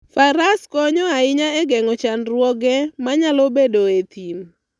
Faras konyo ahinya e geng'o chandruoge ma nyalo bedoe e thim.